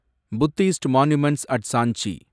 Buddhist monuments at Sanchi